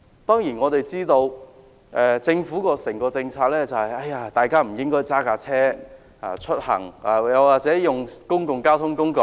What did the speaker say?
當然，政府的整體政策是市民不應駕車出行，應使用公共交通工具。